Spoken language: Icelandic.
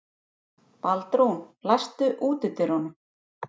Baldrún, læstu útidyrunum.